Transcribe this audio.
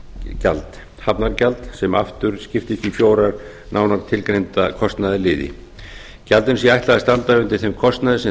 gjald hafnargjald sem aftur skiptist í fjóra nánar tilgreinda kostnaðarliði gjöldum sé ætla að standa undir þeim kostnaði sem